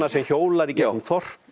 sem hjólar í gegnum þorp